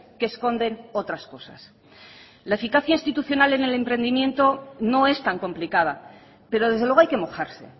que esconden otras cosas la eficacia institucional en el emprendimiento no es tan complicada pero desde luego hay que mojarse